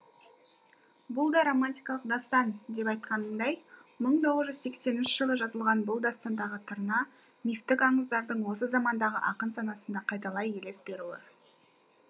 бұл да романтикалық дастан деп айтқанындай мың тоғыз жүз сексенінші жылы жазылған бұл дастандағы тырна мифтік аңыздардың осы замандағы ақын санасында қайталай елес беруі